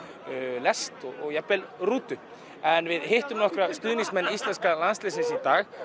lest og jafnvel rútu en við hittum nokkra stuðningsmenn íslenska landsliðsins í dag